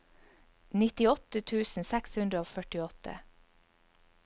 nittiåtte tusen seks hundre og førtiåtte